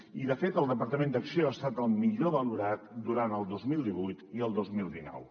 i de fet el departament d’acció ha estat el millor valorat durant el dos mil divuit i el dos mil dinou